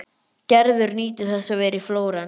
Gerður nýtur þess að vera í Flórens.